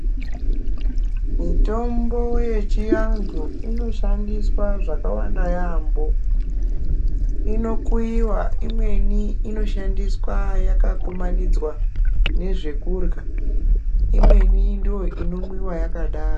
Mitombo yechianhu inoshandiswa zvakawanda yaamho inokuyiwa imweni inoshandiswa yakakumanidzwa nezvekurya imweni ndiyo inomwiwa yakadaro.